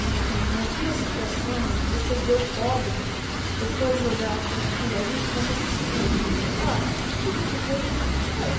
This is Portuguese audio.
E e em algumas situações, você vê o pobre, pessoas olharem para aquilo ali como se, ah, tudo de ruim tem que ir para ele.